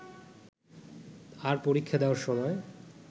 আর পরীক্ষা দেওয়ার সময়